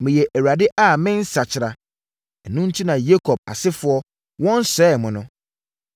“Meyɛ Awurade a mennsakyera. Ɛno enti na mo Yakob asefoɔ, wɔnsɛee mo no.